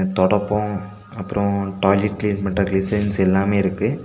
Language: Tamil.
தொடப்பம் அப்றோ டாய்லெட் கிளீன் பன்ற கிளன்சர்ஸ் எல்லாமே இருக்கு.